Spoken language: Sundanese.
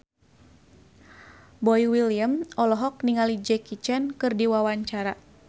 Boy William olohok ningali Jackie Chan keur diwawancara